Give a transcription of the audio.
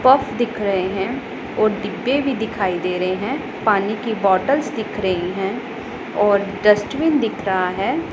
Purse दिख रहे है और डिब्बे भी दिखाई दे रहे हैं पानी की बॉटल्स दिख रही हैं और डस्टबिन दिख रहा है।